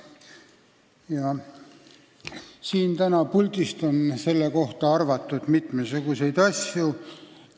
Täna on siit puldist selle kohta mitmesuguseid asju arvatud.